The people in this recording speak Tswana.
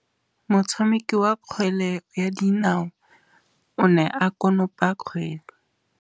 Motshameki wa kgwele ya dinaô o ne a konopa kgwele.